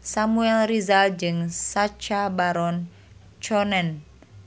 Samuel Rizal jeung Sacha Baron Cohen